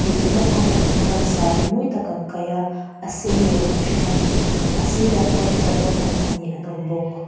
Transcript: hmeichhe naupang pahnih chuan saree mawi tak an kaih a a sen leh rawng hring ani a sirah hian mipa naupang pahnih an awm bawk.